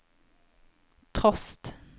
trost